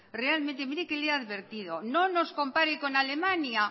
realmente mire que le he advertido no nos compare con alemania